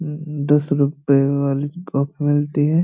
दस रूपए वाली कप मिलती है।